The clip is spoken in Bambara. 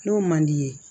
N'o man d'i ye